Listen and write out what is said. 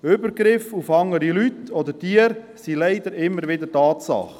Übergriffe auf andere Leute oder Tiere sind leider immer wieder Tatsache.